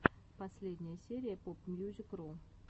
последняя серия попмьюзикру